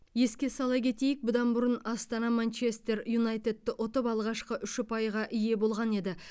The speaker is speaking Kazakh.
еске сала кетейік бұдан бұрын астана манчестер юнайтедті ұтып алғашқы үш ұпайға ие болған еді